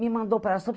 Me mandou para